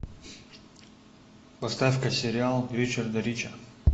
поставь ка сериал ричарда рича